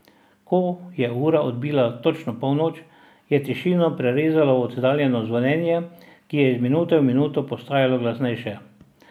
Ko je ura odbila točno polnoč, je tišino prerezalo oddaljeno zvonjenje, ki je iz minute v minuto postajalo glasnejše.